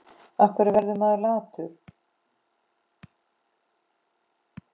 Af hverju verður maður latur?